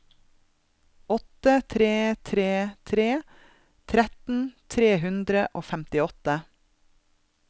åtte tre tre tre tretten tre hundre og femtiåtte